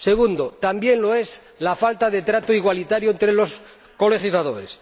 segundo, también lo es la falta de trato igualitario entre los colegisladores